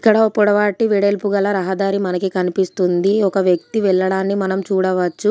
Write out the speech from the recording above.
ఇక్కడ ఓ పొడవాటి వెడల్పు గల రహదారి మనకి కనిపిస్తుంది. ఒక వ్యక్తి వెళ్లడాన్ని మనం చూడవచ్చు.